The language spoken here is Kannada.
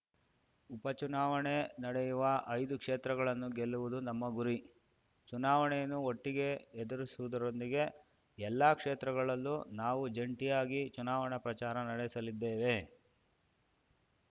ಉಪ ಚುನಾವಣೆ ನಡೆಯುವ ಐದು ಕ್ಷೇತ್ರಗಳನ್ನು ಗೆಲ್ಲುವುದು ನಮ್ಮ ಗುರಿ ಚುನಾವಣೆಯನ್ನು ಒಟ್ಟಿಗೆ ಎದುರಿಸುವುದರೊಂದಿಗೆ ಎಲ್ಲಾ ಕ್ಷೇತ್ರಗಳಲ್ಲೂ ನಾವು ಜಂಟಿಯಾಗಿ ಚುನಾವಣಾ ಪ್ರಚಾರ ನಡೆಸಲಿದ್ದೇವೆ